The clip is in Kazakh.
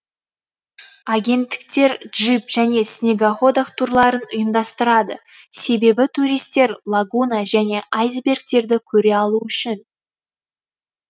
агенттіктер джип және снегоходах турларын ұйымдастырады себебі туристер лагуна және айсбергтерді көре алу үшін